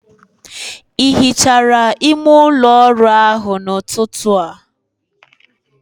Ị hichara ime ụlọ ọrụ ahụ n'ụtụtụ a?